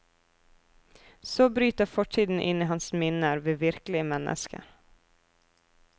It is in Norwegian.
Så bryter fortiden inn i hans minner ved virkelige mennesker.